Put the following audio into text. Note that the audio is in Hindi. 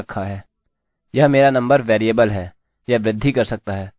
मैंने अपना नामname एलेक्सalex सेट कर रखा है